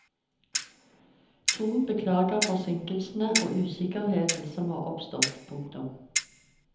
Thon beklager forsinkelsene og usikkerheten som har oppstått. punktum